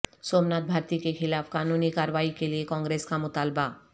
سومناتھ بھارتی کیخلاف قانونی کارروائی کیلئے کانگریس کا مطالبہ